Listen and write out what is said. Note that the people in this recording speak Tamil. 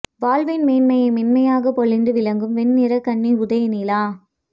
வாழ்வின் மேன்மையை மென்மையாக பொழிந்து விளக்கும் வெண்ணிறக் கன்னி உதய நிலா